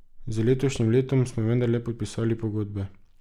Z letošnjim letom smo vendarle podpisali pogodbe.